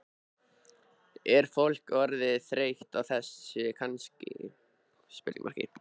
Er fólk orðið þreytt á þessu kannski?